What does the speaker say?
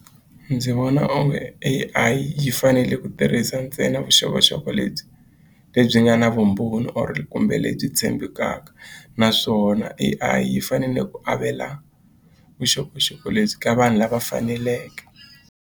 Ndzi vona onge A_I yi fanele ku tirhisa ntsena vuxokoxoko lebyi lebyi nga na vumbhoni or kumbe lebyi tshembekaka naswona A_I yi fanele ku avela vuxokoxoko lebyi ka vanhu lava faneleke.